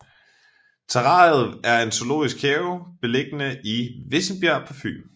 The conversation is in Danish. Terrariet er en zoologisk have beliggende i Vissenbjerg på Fyn